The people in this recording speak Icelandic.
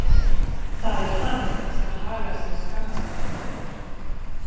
Það er hann sem hagar sér skammarlega.